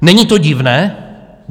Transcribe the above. Není to divné?